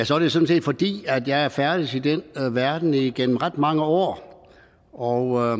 sådan set fordi jeg er færdedes i den verden igennem ret mange år og